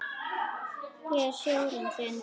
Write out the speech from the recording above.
Ég er sjórinn þinn.